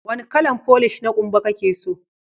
Wanni kalan folish na kumba kake so?